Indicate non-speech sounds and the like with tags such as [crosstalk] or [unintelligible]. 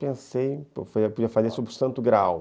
Pensei, [unintelligible] fazer sobre o Santo Graal.